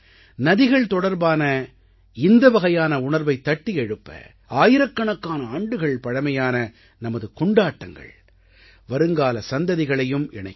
நதிகள் தொடர்பான இந்த வகையான உணர்வைத் தட்டி எழுப்ப ஆயிரக்கணக்கான ஆண்டுகள் பழமையான நமது கொண்டாட்டங்கள் வருங்கால சந்ததிகளையும் இணைக்கும்